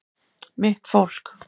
Mitt fólk